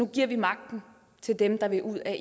giver magten til dem der vil ud af